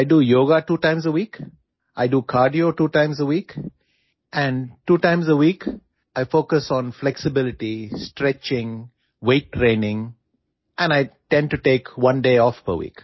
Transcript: I do yoga two times a week, I do cardio two times a week and two times a week, I focus on flexibility, stretching, weight training and I tend to take one day off per week